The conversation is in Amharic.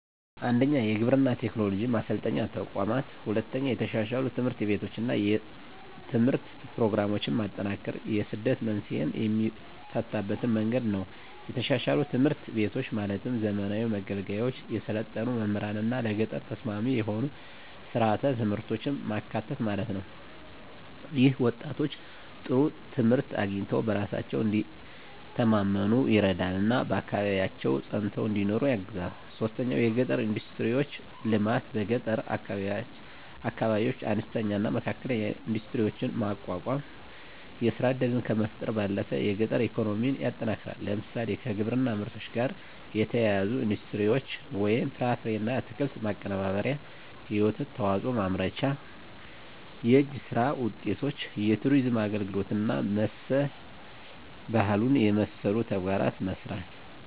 1. የግብርና ቴክኖሎጂ ማሰልጠኛ ተቋማት 2. የተሻሻሉ ትምህርት ቤቶችና የትምህርት ፕሮግራሞች ማጠናከር የስደት መንስኤን የሚፈታበት መንገድ ነው የተሻሻሉ ትምህርት ቤቶች ማለትም ዘመናዊ መገልገያዎች፣ የሰለጠኑ መምህራንና ለገጠር ተስማሚ የሆኑ ሥርዓተ ትምህርቶች ማካተት ማለት ነው። ይህም ወጣቶች ጥሩ ትምህርት አግኝተው በራሳቸው እንዲተማመኑ ይረዳልና በአካባቢያቸው ፀንተው እንዲኖሩ ያግዛል 3. የገጠር ኢንዱስትሪዎች ልማት በገጠር አካባቢዎች አነስተኛና መካከለኛ ኢንዱስትሪዎችን ማቋቋም የሥራ ዕድልን ከመፍጠር ባለፈ የገጠር ኢኮኖሚን ያጠናክራል። ለምሳሌ፣ ከግብርና ምርቶች ጋር የተያያዙ ኢንዱስትሪዎች (ፍራፍሬና አትክልት ማቀነባበሪያ፣ የወተት ተዋጽኦ ማምረቻ)፣ የእጅ ሥራ ውጤቶች፣ የቱሪዝም አገልግሎት እና መሠል ባህሉን የመሠሉ ተግባራትን መሥራት